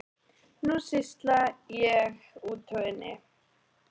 Nú sýsla ég úti og inni.